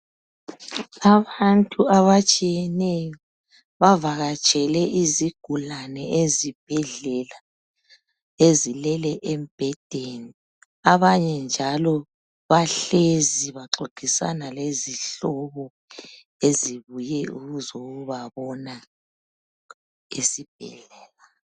Abantu abatshiyeneyo bavakatshele izigulane ezibhedlela ezilele embhedeni. Abanye njalo bahlezi baxoxisana lezihlobo ezibuye ukuzobabona esibhedlela.